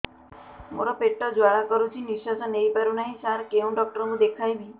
ମୋର ପେଟ ଜ୍ୱାଳା କରୁଛି ନିଶ୍ୱାସ ନେଇ ପାରୁନାହିଁ ସାର କେଉଁ ଡକ୍ଟର କୁ ଦେଖାଇବି